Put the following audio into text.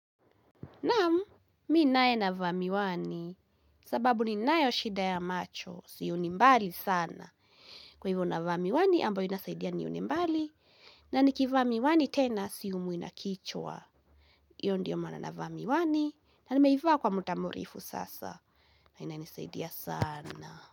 Namu, mi nae na va miwani, sababu ninayo shida ya macho, siyoni mbali sana. Kwa hivyo navamiwani, ambayo inasaidia niyoni mbali, na nikiva miwani tena, siyumwi nakichwa. Iyo ndiyo maana nava miwani, na nimeiva kwa mutamurefu sasa, na ina nisaidia sana.